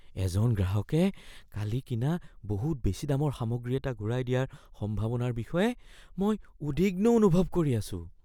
এজন গ্ৰাহকে কালি কিনা বহুত বেছি দামৰ সামগ্ৰী এটা ঘূৰাই দিয়াৰ সম্ভাৱনাৰ বিষয়ে মই উদ্বিগ্ন অনুভৱ কৰি আছোঁ।